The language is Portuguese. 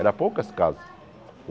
Era poucas casas.